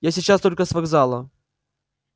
я сейчас только с вокзала